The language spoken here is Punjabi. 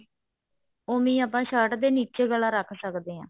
ਓਵੀੰ ਆਪਾਂ shirt ਦੇ ਨੀਚੇ ਗਲਾ ਰੱਖ ਸਕਦੇ ਹਾਂ